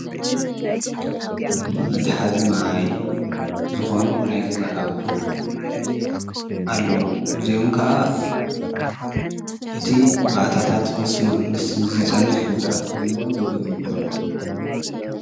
መትሓዚ ማይ ዝኾኑ ናይ ገዛ ኣቑሑ ኣለው። እዚኦም ከዓ እቲ ባእታታት ምስ ዝፀንሕ ጉድኣት ክህልዎ ይክእል ዶ?